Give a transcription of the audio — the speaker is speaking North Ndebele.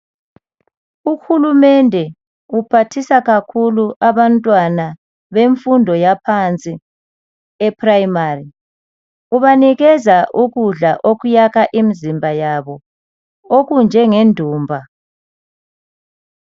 Uhulumende uphathisa kakhulu abantwana bemfundo yaphansi eprimary. Ubanikeza ukudla okuyakha imizimba yabo okunjengendumba